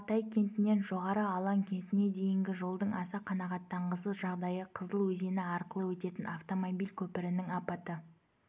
алтай кентінен жоғары алаң кентіне дейінгі жолдың аса қанағаттанғысыз жағдайы қызыл өзені арқылы өтетін автомобиль көпірінің апатты